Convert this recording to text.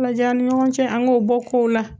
Falajayan ni ɲɔgɔn cɛ an k'o bɔ kow la